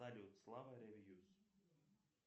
салют слава ревьюс